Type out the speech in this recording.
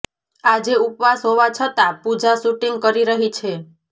આજે ઉપવાસ હોવા છતાં પૂજા શૂટિંગ કરી રહી છે